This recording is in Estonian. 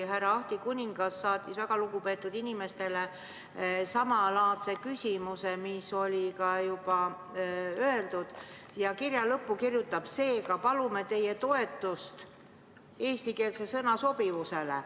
Härra Ahti Kuningas saatis väga lugupeetud inimestele samalaadse küsimuse, mis sai juba öeldud, ja kirja lõppu kirjutas: "Seega palume teie toetust eestikeelse sõna sobivusele.